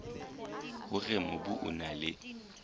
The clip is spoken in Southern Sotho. hore mobu o na le